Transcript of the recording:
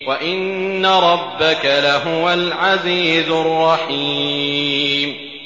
وَإِنَّ رَبَّكَ لَهُوَ الْعَزِيزُ الرَّحِيمُ